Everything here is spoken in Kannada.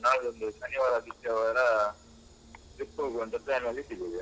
ನಾಡಿದ್ದು ಒಂದು ಶನಿವಾರ, ಆದಿತ್ಯವಾರ trip ಹೋಗುವ ಅಂತ ಪ್ಲಾನಲ್ಲಿದ್ದೀವಿ ಈಗ.